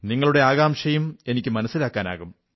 നിങ്ങളുടെ ആകാംക്ഷയും എനിക്ക് മനസ്സിലാക്കാനാകും